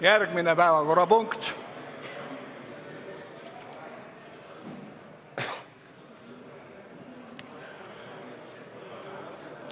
Järgmine päevakorrapunkt ...